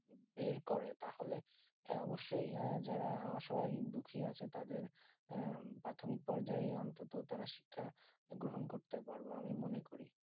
বের করে তা হলে অবসয়ে যারা দুঃখী আছে তাদের প্রাথিমিক পরাজয় অনন্ত তারা শিক্ষা গ্রহণ করতে পারবো আমি মনে করি